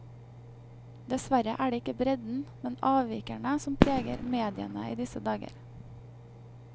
Dessverre er det ikke bredden, men avvikerne, som preger mediene i disse dager.